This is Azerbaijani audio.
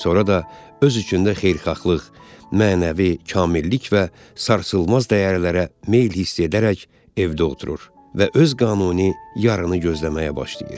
Sonra da öz içində xeyirxahlıq, mənəvi kamillik və sarsılmaz dəyərlərə meyl hiss edərək evdə oturur və öz qanuni yarını gözləməyə başlayır.